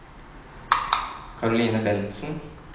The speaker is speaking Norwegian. Karoline Bentsen